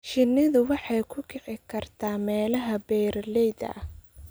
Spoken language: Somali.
Shinnidu waxay ku kici kartaa meelaha buuraleyda ah.